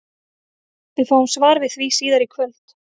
Við fáum svar við því síðar í kvöld!